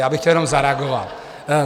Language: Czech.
Já bych chtěl jenom zareagovat.